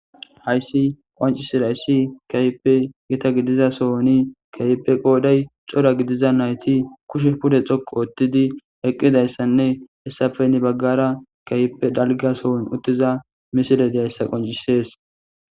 Hayssi qancisirayssi kayipe gita gidiza sohoni kayipe qooday cora gidiza nayti kushe pude xoqu oottidi eqqidayssanne hessafe ni baggara kayipe dalgasohon uttiza misile deyayssa qoncisees.